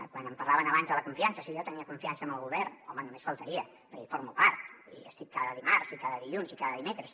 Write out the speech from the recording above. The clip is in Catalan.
quan em parlaven abans de la confiança si jo tenia confiança en el govern home només faltaria perquè en formo part i hi estic cada dimarts i cada dilluns i cada dimecres